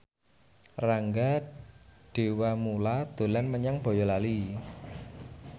Rangga Dewamoela dolan menyang Boyolali